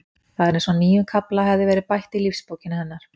Það var eins og nýjum kafla hefði verið bætt í lífsbókina hennar.